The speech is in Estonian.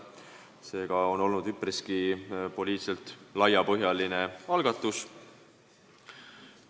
Seega on see poliitiliselt üpriski laiapõhjaline algatus.